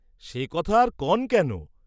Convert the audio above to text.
"সে কথা আর কন্ কেন?"